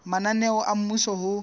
mananeo a mmuso a ho